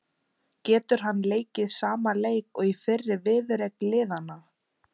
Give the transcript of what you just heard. Getur hann leikið sama leik og í fyrri viðureign liðanna?